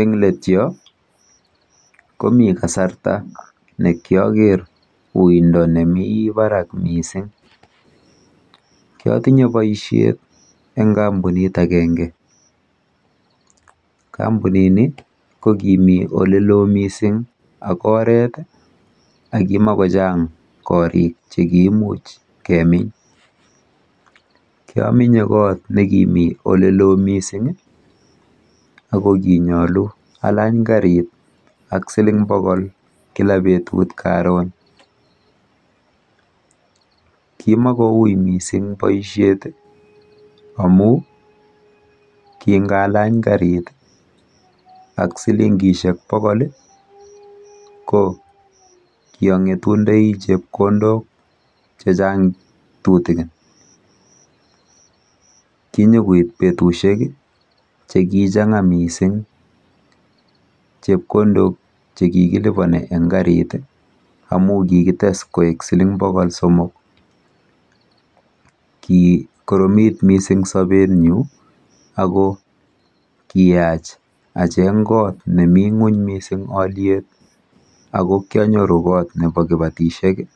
Eng let yo komi kasarta nekyoker uindo nemi barak mising, nkotinye boishet eng kampunit akenge. Kampunini ko kimi olelo mising ak oret akimakochang korik chekiimuch kemin. Kyominye kot nekimi olelo mising ako kinyolu alany karit ak siling pokol kila petut karon. kimakouy mising boishet amu kingalany karit ak silingishek pokol ko kiang'etundoi chepkondok chechang kitikin. Kinyukuit betushek chekichan'ga mising chepkondok chekikilipone eng karit amu kikites koek siling pokol somok . Kikoromit mising sobenyu ako kiyach acheng kot nemi ng'uny mising alyet ako kianyoru kot nepo kipatishek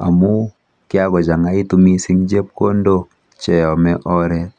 amu kyakochang'aitu mising chepkondok cheome oret.